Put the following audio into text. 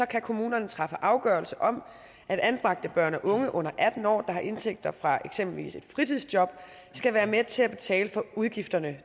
kan kommunerne træffe afgørelse om at anbragte børn og unge under atten år der har indtægter fra for eksempel et fritidsjob skal være med til at betale udgifterne